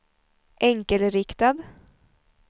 enkelriktad